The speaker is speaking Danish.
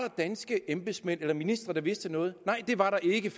danske embedsmænd eller ministre der vidste noget nej det var der ikke